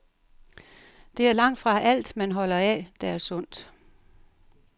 Det er langtfra alt, man holder af, der er sundt.